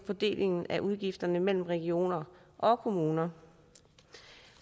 fordelingen af udgifter mellem regioner og kommuner